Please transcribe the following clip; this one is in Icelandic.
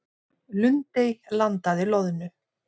Lundey landaði loðnu